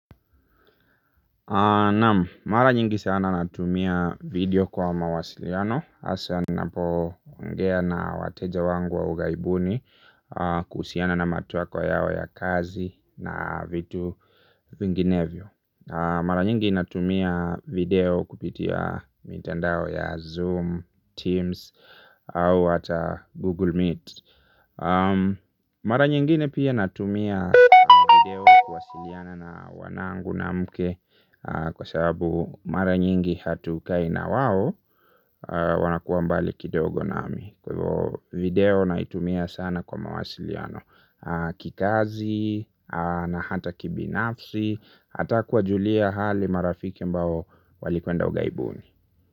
Naam, mara nyingi sana natumia video kwa mawasiliano asa ninapo ongea na wateja wangu wa ughaibuni. Kuhusiana na matakwa yao ya kazi na vitu vinginevyo. Mara nyingi natumia video kupitia mitandao ya Zoom, Teams au hata Google Meet. Mara nyingine pia natumia video kuwasiliana na wanangu na mke. Kwa sababu mara nyingi hatukai na wao. Wanakua mbali kidogo nami. Video naitumia sana kwa mawasiliano kikazi na hata kibinafsi. Hata kuwajulia hali marafiki ambao walikuenda ughaibuni.